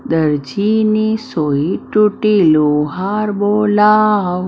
દરજીની સોઈ તૂટી લુહાર બોલાવ.